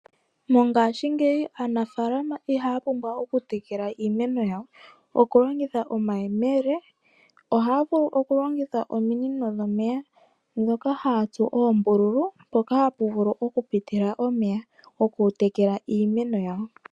Mongaashingeyi aanafaalama ihaa pumbwa oku tekela iimeno yawo oku longitha omayele, ohaa vulu oku longitha ominino dhomeya, ndhoka haa tsu oombululu mpoka hapu vulu oku pitila omeya oku tekela iimeno yawo.